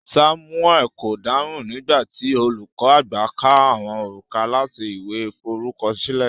Samuel ko dáhùn nigba ti olùkọ àgbà ka àwọn orúkọ láti ìwé f'orukọsile.